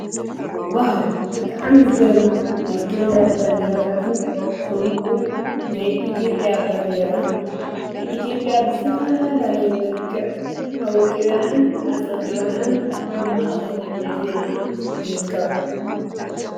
ዋው ብጣዕሚ ዝገርማ ናይ ክልላት ባንዴራታትን ከምኡ እውን ናይ ኢትዮጵያ ባንዴራ ንኢትዮጵያ ብዝተፈላለዩ መልክዕ አወቂበንአን አፀቢቀንአን አብ ማእከል የእትየንአ ይርከባ።